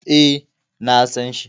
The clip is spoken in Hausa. E, na san shi.